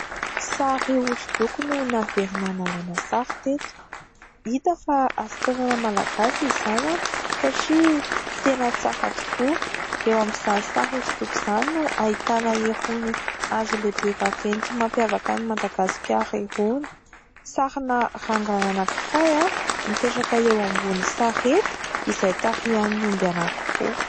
Sary hosodoko no naverina nalaina sary teto. Hita fa asa tanana malagasy izany satria tena tsara tokoa. Eo amin'izany sary hosodoko izany no ahitana irony hazo lehibe vaventy mampiavaka ny Madagasikara irony. Sarina rangahy anankiray mipetraka eo ambony sarety izay tarihan'ny omby anankiroa.